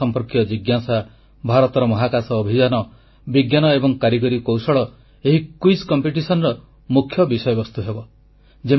ମହାକାଶ ସମ୍ପର୍କୀୟ ଜିଜ୍ଞାସା ଭାରତର ମହାକାଶ ଅଭିଯାନ ବିଜ୍ଞାନ ଏବଂ କାରିଗରୀ କୌଶଳ ମୁଖ୍ୟ ବିଷୟବସ୍ତୁ ହେବ